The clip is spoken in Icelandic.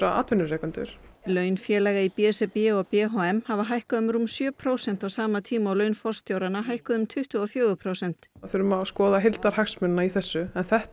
atvinnurekendur laun félaga í b s r b og b h m hafa hækkað um rúm sjö prósent á sama tíma og laun forstjóranna hækkuðu um tuttugu og fjögur prósent við þurfum að skoða heildarhagsmunina í þessu en þetta